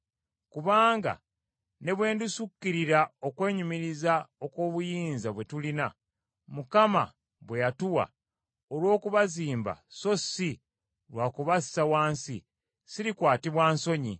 Kubanga ne bwe ndisukkirira okwenyumiriza olw’obuyinza bwe tulina, Mukama bwe yatuwa olw’okubazimba so si lwa kubassa wansi, sirikwatibwa nsonyi,